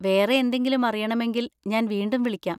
വേറെ എന്തെങ്കിലും അറിയണമെങ്കിൽ ഞാൻ വീണ്ടും വിളിക്കാം.